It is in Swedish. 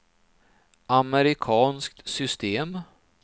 amerikanskt system